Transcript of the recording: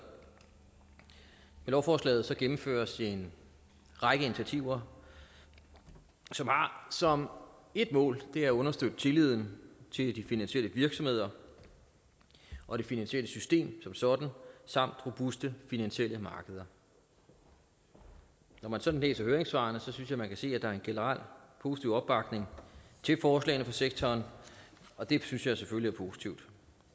lovforslaget gennemføres en række initiativer som ét mål at understøtte tilliden til de finansielle virksomheder og det finansielle system som sådan samt robuste finansielle markeder når man sådan læser høringssvarene synes jeg man kan se at der er en generel positiv opbakning til forslagene fra sektoren og det synes jeg selvfølgelig er positivt